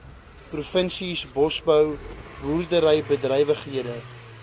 provinsies bosbou boerderybedrywighede